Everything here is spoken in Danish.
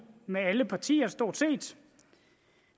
med alle partier stort set